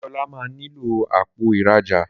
Deola má nilo Àpò ìrajà